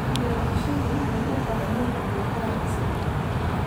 Beerashadu waxay u baahan tahay qalab casri ah.